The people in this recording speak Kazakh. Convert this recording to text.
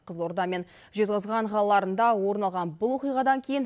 қызылорда мен жезқазған қалаларында орын алған бұл оқиғадан кейін